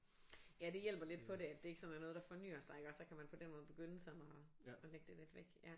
Ja det hjælper lidt på det at det ikke sådan er noget der fornyer sig iggås så kan man på den måde begynde sådan og og lægge det lidt væk ja